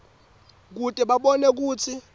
kute babone kutsi